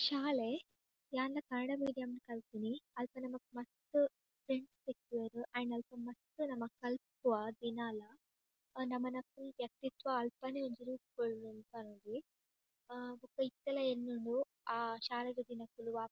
ಶಾಲೆ ಯಾನ್ಲಾ ಕನ್ನಡ ಮೀಡಿಯಂ ಡ್ ಕಲ್ದಿನಿ ಅಲ್ಪ ನಮಕ್ ಮಸ್ತ್ ಫ್ರೆಂಡ್ಸ್ ತಿಕ್ಕುವೆರ್ ಆಂಡ್ ಅಲ್ಪ ಮಸ್ತ್ ನಮ ಕಲ್ಪುವ ದಿನಾಲ ನಮನ ಫುಲ್ ವ್ಯಕ್ತಿತ್ವ ಅಲ್ಪನೆ ಒಂಜಿ ರೂಪುಗೊಳ್ಳುನಿ ಪನೊಲಿ ಹಾ ಬೊಕ ಇತ್ತೆಲ ಎನ್ನುಂಡು ಆ ಶಾಲೆದ ದಿನಕುಲು ವಾ --